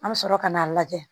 An bɛ sɔrɔ ka n'a lajɛ